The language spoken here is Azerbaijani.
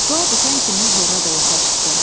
Dua bitən kimi Horra da yuxarı çıxdı.